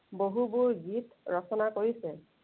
বহুবোৰ গীত ৰচনা কৰিছে।